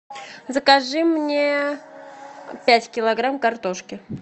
закажи мне пять килограмм картошки